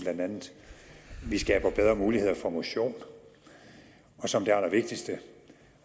vi skaber bedre muligheder for motion og som det allervigtigste